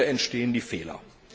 Und hier entstehen die Fehler.